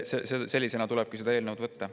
Sellisena tulebki seda eelnõu võtta.